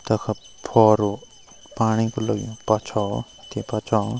तख फुवारु पाणी क लग्युं पछो ते पछो।